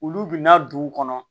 Olu bina duw kɔnɔ